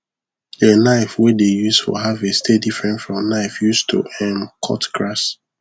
the knife wey dey use for harvest dey different from knife use to um cut grass